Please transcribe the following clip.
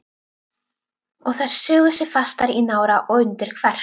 Og þær sugu sig fastar í nára og undir kverk.